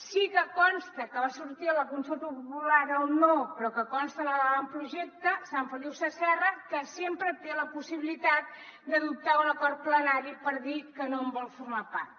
sí que consta que va sortir a la consulta popular el no però que consta a l’avantprojecte sant feliu sasserra que sempre té la possibilitat d’adoptar un acord plenari per dir que no en vol formar part